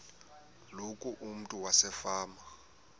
loku umntu wasefama